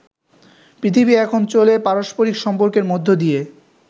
পৃথিবী এখন চলে পারস্পারিক সম্পর্কের মধ্য দিয়ে।